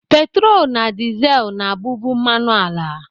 Petrol na diesel na-abụbu mmanụ ala